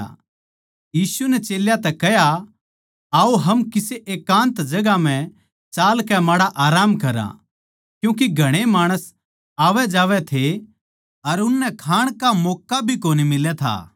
यीशु नै चेल्यां तै कह्या आओ हम किसे एकान्त जगहां म्ह चालकै माड़ा आराम करां क्यूँके घणे माणस आवैजावै थे अर उननै खाण का मौक्का भी कोनी मिलै था